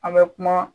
An bɛ kuma